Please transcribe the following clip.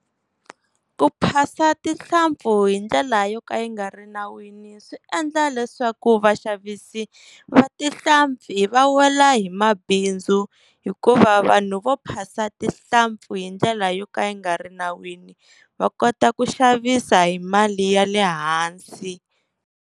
Ku phasa tinhlampfi hi ndlela yo ka yi nga ri nawini, swi endla leswaku vaxavisi va tinhlampfi a wela hi mabindzu hikuva vanhu vo phasa tinhlampfi hi ndlela yo ka yi nga ri nawini va kota ku xavisa hi mali ya le hansi.